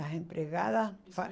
As empregadas fa isso ai.